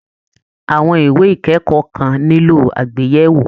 Àwọn ìwé ìkẹ́kọ̀ọ́ kan nílò àgbéyẹ̀wò